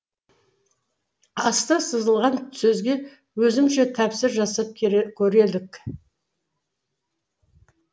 асты сызылған сөзге өзімізше тәпсір жасап көрелік